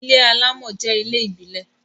ilé alamò jẹ ilé ìbílè